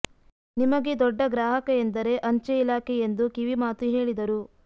ನಿಮಗೆ ದೊಡ್ಡ ಗ್ರಾಹಕ ಎಂದರೇ ಅಂಚೆ ಇಲಾಖೆ ಎಂದು ಕಿವಿಮಾತು ಹೇಳಿದರು